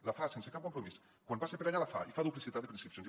la fa sense cap compromís quan passa per allà la fa i fa duplicitat de preinscripcions